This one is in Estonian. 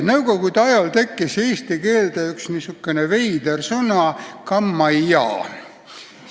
Nõukogude ajal tekkis eesti keelde üks veider sõna "kammajaa".